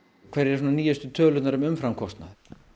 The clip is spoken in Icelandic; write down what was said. hverjar eru nýjustu tölur um umframkostnað